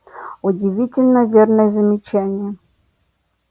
удивительно верное замечание